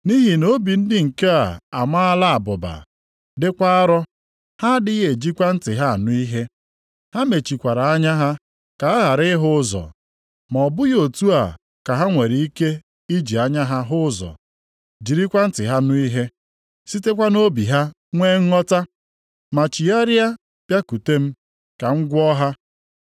Nʼihi na obi ndị nke a a maala abụba, dịkwa arọ, ha adịghị ejikwa ntị ha anụ ihe, ha mechikwara anya ha ka ha ghara ịhụ ụzọ. Ma ọ bụghị otu a ha nwere ike iji anya ha hụ ụzọ, jirikwa ntị ha nụ ihe, sitekwa nʼobi ha nwe nghọta ma chigharịa bịakwute m, ka m gwọọ ha.’ + 13:15 \+xt Aịz 6:9,10\+xt*